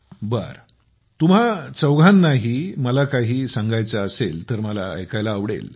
बरं तुम्हा चौघांनाही मला काही सांगायचं असेल तर मला ऐकायला आवडेल